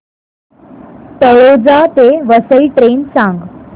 तळोजा ते वसई ट्रेन सांग